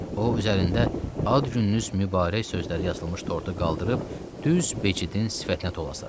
O, üzərində ad gününüz mübarək sözləri yazılmış tortu qaldırıb düz Becidin sifətinə tulasladı.